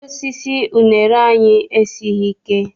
Osisi unere anyị esighị ike.